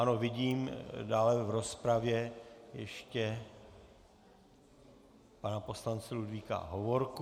Ano, vidím dále v rozpravě ještě pana poslance Ludvíka Hovorku.